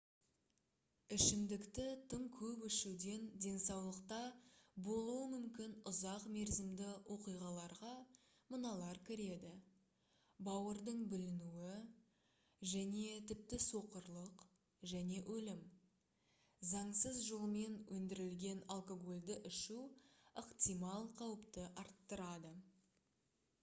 ішімдікті тым көп ішуден денсаулықта болуы мүмкін ұзақ мерзімді оқиғаларға мыналар кіреді бауырдың бүлінуі және тіпті соқырлық және өлім заңсыз жолмен өндірілген алкогольді ішу ықтимал қауіпті арттырады